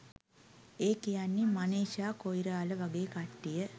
ඒ කියන්නේ මනිෂා කොයිරාල වගේ කට්ටිය.